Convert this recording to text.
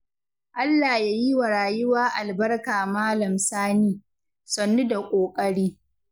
Allah ya yi wa rayuwa albarka Malam Sani, sannu da ƙoƙari.